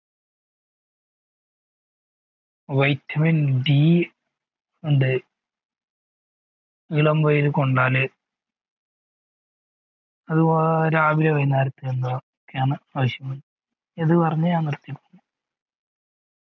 vitaminD ഉണ്ട് ഇളം വായിൽ കൊണ്ടാൽ അതുപോലെ രാവിലെ വൈനരത്തിലും